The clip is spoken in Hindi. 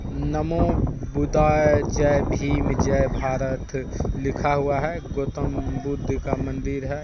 नमो बुदाय जय भीम जय भारत लिखा हुआ हैं गोतम बुद्ध का मंदिर है ।